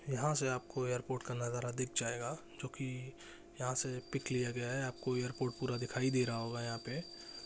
यहाँ से आप को एयरपोर्ट नज़ारा दिख जाएगा जो की यहा से पीक लिया गया है आप को एयरपोर्ट पूरा दिखाई दे रहा हो होगा यहाँ पे--